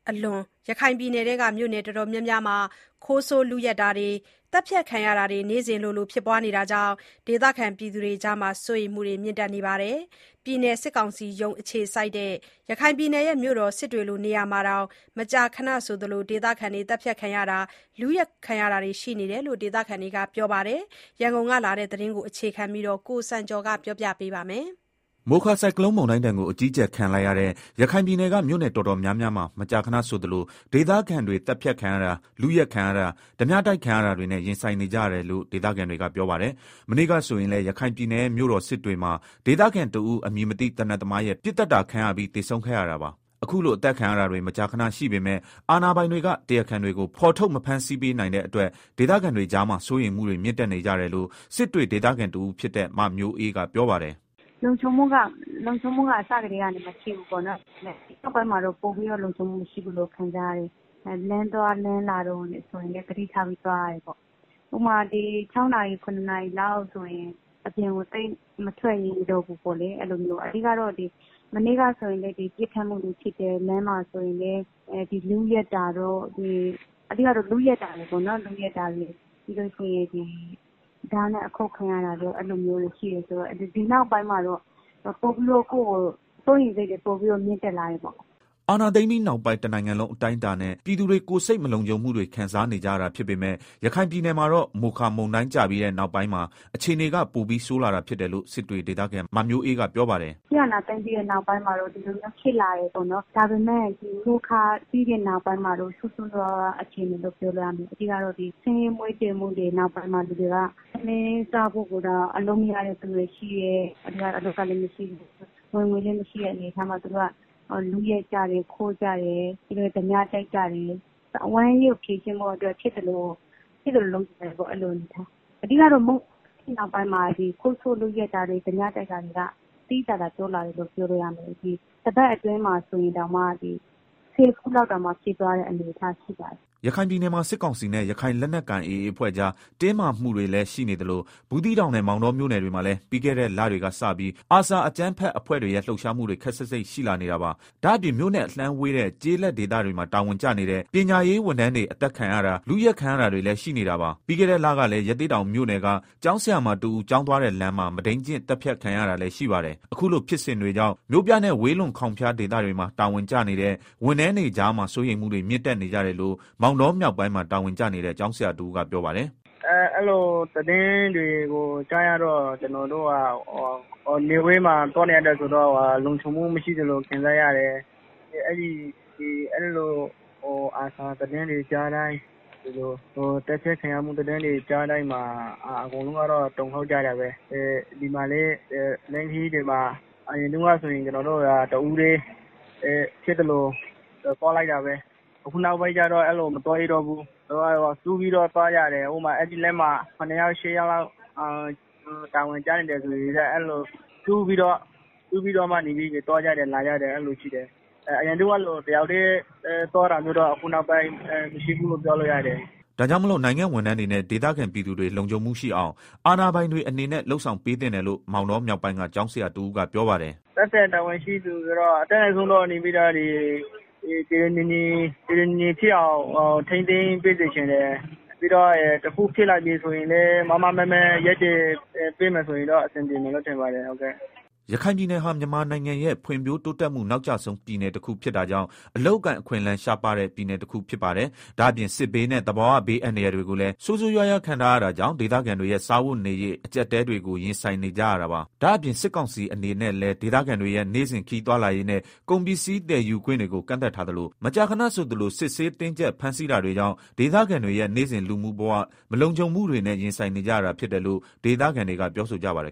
အလွန် ရခိုင်ပြည်နယ်က မြို့နယ်တော်တော်များများမှာ ခိုးဆိုးလုယက်တာတွေ သတ်ဖြတ် ခံရတာတွေနေ့စဉ်လိုလို ရှိလာနေတာကြောင့် ဒေသခံတွေကြားစိုးရိမ်မှု မြင့်နေကြ တာပါ။ ပြည်နယ်စစ်ကောင်စီရုံးအခြေစိုက်တဲ့ ရခိုင်ပြည်နယ်ရဲ့ မြို့တော် စစ်တွေလိုနေရာမှာတောင် မကြာခဏဆိုသလို ဒေသခံတွေသတ်ဖြတ်ခံရတာ လုယက်ခံရတာတွေ ရှိနေတယ်လို့ ဒေသခံတွေကပြောကြပါတယ်။ ရန်ကုန်ကလာတဲ့ သတင်းကို အခြေခံပြီး ကိုစံကျော်က တင်ပြထားပါတယ်။ မိုခါဆုန်ကလုန်းမုန်တိုင်းဒဏ်ကို အကြီးအကျယ်ခံလိုက်ရတဲ့ ရခိုင်ပြည်နယ်က မြို့နယ် တော်တော်များများမှာ မကြာခဏဆိုသလို ဒေသခံတွေ သတ်ဖြတ်ခံရတာ လုယက်ခံရတာ ဓားပြတိုက်ခံရတာတွေနဲ့ရင်ဆိုင်နေကြရတယ်လို့ ဒေသခံတွေ ကပြောပါတယ်။ မနေ့က ဆိုရင်လည်း ရခိုင်ပြည်နယ်ရဲ့ မြို့တော်စစ်တွေမှာ ဒေသခံတဦး အမည်မသိ သေနတ်သမားရဲ့ ပစ်သတ်တာခံရပြီး သေဆုံးခဲ့ရတာပါ။ အခုလို အသတ်ခံရတာတွေ မကြာခဏရှိပေမယ့် အာဏာပိုင်တွေက တရားခံတွေကို ဖော်ထုတ် မဖမ်းဆီးပေးနိုင်တဲ့အတွက် ဒေသခံတွေကြား စိုးရိမ်မှုတွေ မြင့်တက်နေကြတယ်လို့ စစ်တွေဒေသခံတဦးဖြစ်တဲ့ မမျိုးအေးကပြောပါတယ်။ “ လုံခြံမှုက အစကတည်းကနေ မရှိဘူးပေါ့နော်၊ ဒါပေမယ့် အခုနောက်ပိုင်းမှာတော့ ပိုပြီးတော့ လုံခြုံမှုမရှိဘူးလို့ ခံစားရတယ်၊ လမ်းသွားလမ်းလာတို့ဆိုရင်လည်း သတိထားပြီးသွား ရတယ် ပေါ့၊ ဥပမာ ၆နာရီ ရနာရီလောက်ဆိုရင် အပြင်ကို သိပ်မထွက်ရဲတော့ဘူးပေါ့လေ၊ မနေ့က ဆိုရင်လည်း ပစ်ခတ်မှုတွေ ဖြစ်တယ်၊ လမ်းမှာဆိုရင်လည်းလုယက်မှုတွေ ဓားနဲ့ အခုတ်ခံရ တာတွေပိုများလာတော့ ဒီနောက်ပိုင်းမှာ ကိုယ့်ကို စိုးရိမ်စိတ်တွေ ပိုပြီးတော့ မြင့်တက် လာ တာပေါ့။” အာဏာသိမ်းပြီးနောက်ပိုင်း တနိုင်ငံလုံး အတိုင်းအတာနဲ့ ပြည်သူတွေ ကိုယ်စိတ် မလုံခြုံမှုတွေခံစားနေကြရတာ ဖြစ်ပေမယ့် ရခိုင်ပြည်နယ်မှာတော့ မိုခါမုန်တိုင်းကျခဲ့ပြီးတဲ့နောက်ပိုင်းမှာ အခြေနေက ပိုပြီးဆိုးလာတာဖြစ်တယ်လို့ စစ်တွေဒေသခံ မမျိုးအေးက ပြောပါတယ်။ “ စစ်အာဏာသိမ်းပြီးနောက်ပိုင်းမှာတော့ ဒီလိုမျိုးဖြစ်လာတယ်ပေါ့နော် ဒါပေမယ့် မိုခါပြီးတဲ့ နောက်ပိုင်းမှာတော့ ဆိုးဆိုးရွားရွား အခြေအနေလို့ ပြောလို့ရပါတယ်၊ ဆင်းရဲမွဲတေမှုရဲ့ နောက်မှာ လူတွေက ထမင်းစားဖို့အတွက် ရုန်းကြရတယ်၊ အလုပ်လည်းမရှိ ဝင်ငွေလည်း မရှိတဲ့ အနေအထားမှာ လူတွေက ခိုးကြတယ်၊ လုကြတယ်၊ ဓားပြတိုက်ကြ တယ်၊ ဝမ်းရေးကို ဖြေရှင်းဖို့ ဖြစ်သလို လုပ်ကြတယ်၊ အဓိကတော့ မိုခါအပြီးမှာ ဒီလိုဖြစ်စဉ်တွေ သိသိသာသာ တိုးလာတာ၊ တပတ်အတွင်းမှာဆိုရင် ၁ဝ ခုလောက်ဖြစ်သွားတဲ့အနေအထားရှိပါတယ်။” ရခိုင်ပြည်နယ်မှာ စစ်ကောင်စီနဲ့ ရခိုင်လက်နက်ကိုင် AA အဖွဲ့ကြား တင်းမာမှုတွေ လည်းရှိနေသလို ဘူးသီးတောင်နဲ့ မောင်တောမြို့နယ်တွေမှာလည်း ပြီးခဲ့တဲ့ လတွေက စပြီး ARSA အကြမ်းဖက်အဖွဲ့တွေရဲ့ လှုပ်ရှားမှုတွေ ခပ်စိပ်စိပ်ရှိလာနေတာပါ။ ဒါ့အပြင် မြို့နဲ့ အလှမ်းဝေး တဲ့ ကျေးလက်ဒေသတွေမှာ တာဝန်ကျနေတဲ့ ပညာရေးဝန်ထမ်းတွေ အသတ်ခံရတာ လုယက်ခံရတာတွေလည်းရှိနေတာပါ။ ပြီးခဲ့တဲ့ လကလည်း ရသေ့တောင်မြို့ နယ်က ကျောင်းဆရာမတဦး ကျောင်းသွားတဲ့ လမ်းမှာ မုဒိန်းကျင့်သတ်ဖြတ် ခံရတာလည်းရှိပါတယ်။ အခုလို ဖြစ်စဉ်တွေကြောင့် မြို့ပြနဲ့ ဝေးလွန်ခေါင်ဖျားဒေသတွေမှာ တာဝန်ကျနေတဲ့ ဝန်ထမ်းတွေကြား စိုးရိမ်မှုတွေ မြင့်တက်နေကြတယ်လို့ မောင်တောမြောက်ပိုင်းမှာ တာဝန်ကျနေတဲ့ ကျောင်းဆရာတဦးကပြောပါတယ်။ “ အဲလို သတင်းတွေကို ကြားရတော့ ကျနော်တို့ နယ်ဝေးမှာ တာဝန်ထမ်းဆောင်နေရတာ ဆိုတော့ လုံခြုံမှုမရှိသလို ခံစားရတယ်။ အဲဒီလို ARSA သတင်းတွေကြားတိုင်း သတ်ဖြတ်ခံရမှု သတင်းတွေကြားတိုင်း အကုန်လုံးကတော့ တုန်လှုပ်ကြတာပဲ၊ ဒီမှာလည်း လမ်းခရီးတွေမှာ အရင်တုန်းကဆိုရင် တဦးတည်း ဖြစ်သလို သွားလိုက်တာပဲ အခုနောက်ပိုင်းတော့ အဲလိုမသွား ရဲတော့ဘူး၊ စုပြီးတော့ သွားကြတယ်၊ အဲဒီဖက်မှာ ၈ ယောက်လောက် တာဝန်ကျနေတယ်ဆိုရင် စုပြီးတော့ သွားကြတယ် လာကြတယ် အရင်ကလို တယောက်တည်း သွားတာက အခု နောက်ပိုင်းမရှိဘူးလို့ ပြောလို့ရတယ်။” ဒါ့ကြောင့်မလို့ နိုင်ငံ့ဝန်ထမ်းတွေ နဲ့ ဒေသခံပြည်သူတွေလုံခြုံမှုရှိအောင် အာဏာပိုင်တွေအနေနဲ့ လုပ်ဆောင်ပေးသင့်တယ်လို့ မောင်တောမြောက်ပိုင်းက ကျောင်းဆရာ တဦးကပြောပါတယ်။ “ သက်ဆိုင်ရာတာဝန်ရှိသူတွေအနေနဲ့ကတော့ အတတ်နိုင်ဆုံး တည်တည်ငြိမ်ငြိမ်ဖြစ်အောင် ဆောင်ရွက်ပေးစေချင်တယ်၊ ပြီးတော့ တခုခုဖြစ်လာပြီဆိုရင်လည်း မားမားမတ်မတ်ရပ် တည်ပေးမယ် ဆိုရင်တော့ အဆင်ပြေမယ်လို့ထင်ပါတယ်။” ရခိုင်ပြည်နယ်ဟာ မြန်မာနိုင်ငံရဲ့ ဖွံ့ဖြိုးတိုးတက်မှု နောက်အကျဆုံးပြည်နယ်တခုဖြစ်တာကြောင့် အလုပ်အကိုင်အခွင့်အလမ်းရှားပါးတဲ့ ပြည်နယ်တခုဖြစ်ပါတယ်။ ဒါ့အပြင် စစ်ဘေးနဲ့ သဘာဝဘေးအန္တရာယ်တွေကိုလည်း ဆိုးဆိုးရွားရွားခံထားရတာကြောင့် ဒေသခံတွေရဲ့ စားဝတ်နေရေး အကြပ်အတည်းတွေကို ရင်ဆိုင်နေကြရတာပါ။ ဒါ့အပြင် စစ်ကောင်စီအနေနဲ့ လည်းဒေသခံတွေရဲ့ နေ့စဉ်ခရီးသွားလာရေးနဲ့ ကုန်ပစ္စည်း သယ်ယူခွင့်တွေကို ကန့်သတ်ထားသလို မကြာခဏဆိုသလို စစ်ဆေးတင်းကြပ် ဖမ်းဆီးတာ တွေကြောင့် ဒေသခံတွေရဲ့ နေ့စဉ်လူနေမှုဘဝ မလုံခြုံမှုတွေနဲ့ ရင်ဆိုင်နေကြ ရတာဖြစ် တယ်လို့ ဒေသခံတွေကပြောဆိုကြပါတယ်